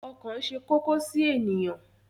Ọkàn ṣe kókó sí ènìyàn.